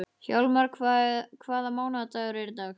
Hjalmar, hvaða mánaðardagur er í dag?